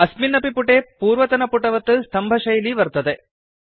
अस्मिन् अपि पुटे पूर्वतनपुटवत् स्तम्भशैली वर्तते